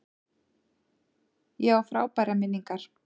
Ég á frábærar minningar.